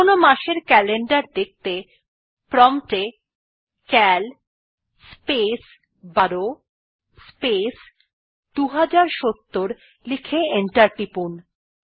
যেকোন মাসের ক্যালেন্ডার দেখতে প্রম্পট এ সিএএল স্পেস ১২ স্পেস ২০৭০ লিখে এন্টার টিপুন